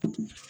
O tɛ